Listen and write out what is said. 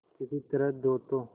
किसी तरह दो तो